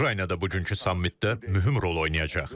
Ukraynada bugünkü sammitdə mühüm rol oynayacaq.